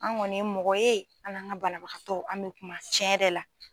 An kɔni ye mɔgɔ ye an n'an ka banabagatɔ an bɛ kuma cɛn yɛrɛ la.